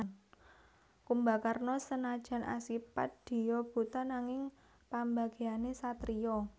Kumbakarna senadyan asipat diyu buta nanging pambegané satriya